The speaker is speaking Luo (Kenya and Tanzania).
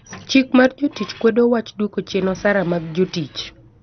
Chik mar jotich kwedo wach duoko chien osara mag jotich.